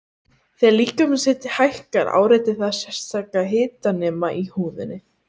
Þegar líkamshiti hækkar áreitir það sérstaka hitanema í húðinni.